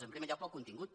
en primer lloc pel contingut